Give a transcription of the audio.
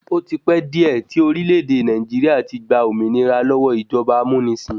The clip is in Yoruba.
Ó ti pẹ́ díẹ̀ tí orílẹ̀-èdè Nàìjíríà ti gba òmìnira lọ́wọ́ ìjọba amúnisìn.